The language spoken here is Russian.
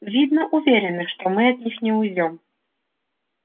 видно уверены что мы от них не уйдём